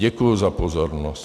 Děkuji za pozornost.